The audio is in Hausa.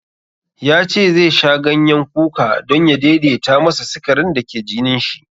Ya ce zai sha ganyen kuka don ya daidaita masa sikarin da ke jinin shi.